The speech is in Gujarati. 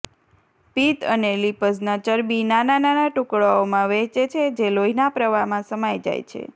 પિત્ત અને લિપઝના ચરબી નાના નાના ટુકડાઓમાં વહેંચે છે જે લોહીના પ્રવાહમાં સમાઈ જાય છે